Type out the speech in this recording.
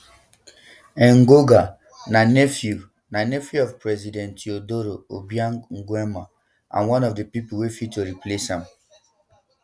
engonga na nephew na nephew of president teodoro obiang nguema and one of di pipo wey fit to replace am